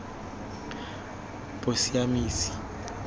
bosiamisi